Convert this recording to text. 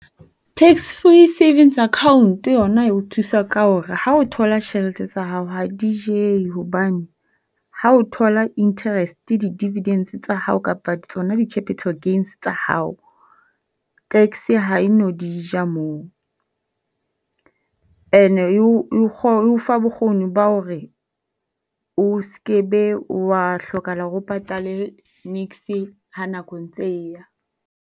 Tax Free Savings Account yona e o thusa ka ahore ha o thola tjhelete tsa hao ha di jewe hobane ha o thola interest, di-dividends tsa hao kapa tsona di-capital gains tsa hao, tax ha e no di ja moo. Ene e o fa bokgoni ba hore o se ke be wa hlokahala hore o patale niks ha nako e ntse e ya.